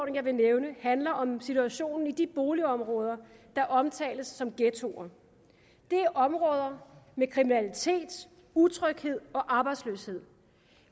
jeg vil nævne handler om situationen i de boligområder der omtales som ghettoer det er områder med kriminalitet utryghed og arbejdsløshed